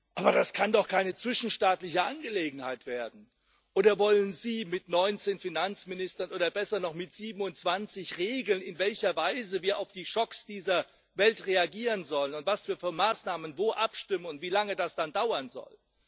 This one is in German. Aber das kann doch keine zwischenstaatliche Angelegenheit werden. Oder wollen Sie mit 19 Finanzministern oder besser noch mit 27 regeln, in welcher Weise wir auf die Schocks dieser Welt reagieren sollen und was wir für Maßnahmen wo abstimmen und wie lange das dann dauern soll?